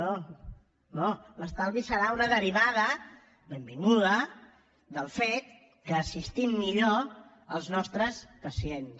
no no l’estalvi serà una derivada benvinguda del fet que assistim millor els nostres pacients